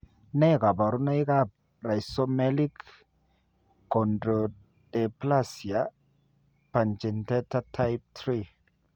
Ne kaabarunetap Rhizomelic chondrodysplasia punctata type 3?